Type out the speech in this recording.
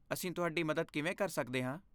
ਅਸੀਂ ਤੁਹਾਡੀ ਮਦਦ ਕਿਵੇਂ ਕਰ ਸਕਦੇ ਹਾਂ?